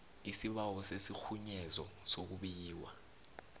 isibawo sesirhunyezo sokubikwa